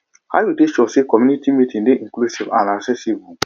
how you dey ensure say community meeting dey inclusive and accessible